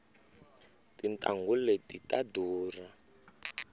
tintanghu leti ta durha